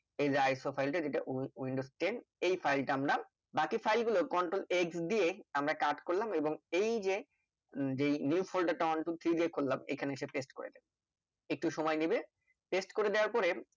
এইযে iso file টা, যেটা উই windows ten এই file টা আমরা বাকি file গুলো Control x দিয়ে আমরা cut করলাম এবং এই যে যেই New folder টা one two three যে খুললাম এখানে এসে press করে একটু সময় নেবে pest করে দেওয়ার পরে